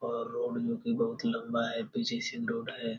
और रोड जो की बहुत लम्बा है रोड है |